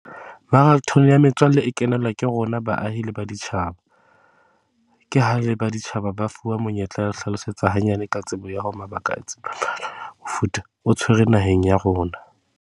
Marathone ya metswalle e kenelwa ke rona baahi le baditjhaba. Ke ha e le baditjhaba ba fuwa monyetla wa ho hlalosetsa hanyane ka tsebo ya o tshwere naheng ya rona.